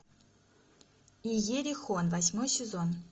иерихон восьмой сезон